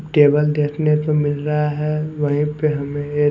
table देखने को मिल रहा है वहीं पे हमें ए--